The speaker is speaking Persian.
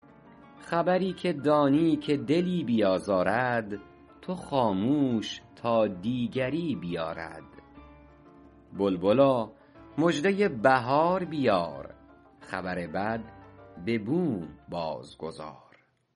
خبری که دانی که دلی بیازارد تو خاموش تا دیگری بیارد بلبلا مژده بهار بیار خبر بد به بوم باز گذار